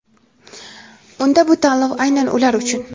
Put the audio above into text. Unda bu tanlov aynan ular uchun!.